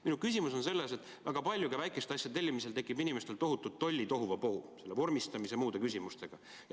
Minu küsimus on selles, et ka väikeste asjade tellimisel tekib inimestel tollis väga palju, tohutult tohuvabohu vormistamise ja muude küsimustega.